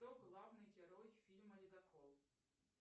кто главный герой фильма ледокол